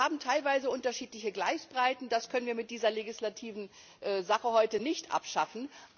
Wir haben teilweise unterschiedliche Gleisbreiten, das können wir mit dieser legislativen Sache heute nicht abschaffen.